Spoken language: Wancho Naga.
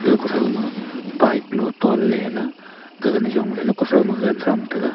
aga kuthaoma bike lu tonley gaga nijong ley kuthaoma gagan mra thongtega.